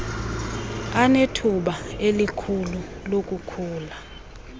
anethuba elikhulu lokukhula